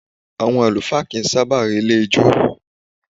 Àwọn àlùfáà kì í sábà relé ijó.